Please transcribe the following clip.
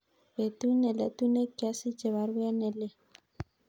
Betut neletu negiasiche baruet nelelach